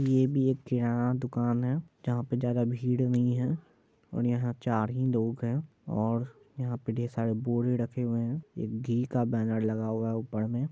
ये भी एक किराना दुकान है यहाँ पे ज्यादा भीड़ नहीं है और यहां चार ही लोग है और यहां पे ढेर-सारे बोरे रखे हुए है एक घी का बैनर लगा हुआ है ऊपर में----